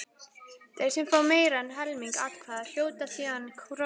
Þeir sem fá meira en helming atkvæða hljóta síðan kosningu.